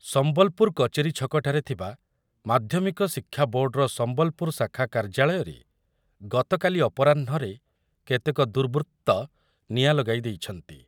ସମ୍ବଲପୁର କଚେରୀ ଛକଠାରେ ଥିବା ମାଧ୍ୟମିକ ଶିକ୍ଷା ବୋର୍ଡ଼ର ସମ୍ବଲପୁର ଶାଖା କାର୍ଯ୍ୟାଳୟରେ ଗତକାଲି ଅପରାହ୍ନରେ କେତେକ ଦୁର୍ବୃତ୍ତ ନିଆଁ ଲଗାଇ ଦେଇଛନ୍ତି ।